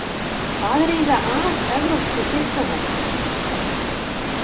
Hvað er eiginlega að evrópskri diplómasíu?